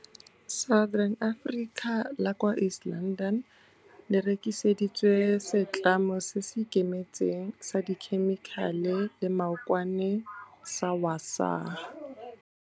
Southern Africa la kwa East London le rekiseditswe setlamo se se ikemetseng sa dikhemikhale le maokwane sa Wasaa.